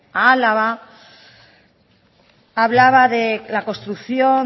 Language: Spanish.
a álava hablaba de la construcción